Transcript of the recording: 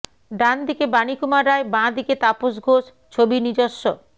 ডানদিকে বানীকুমার রায় বাঁ দিকে তাপস ঘোষ ছবি নিজস্ব